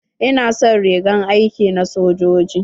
Ina son rigar aiki na sojoji.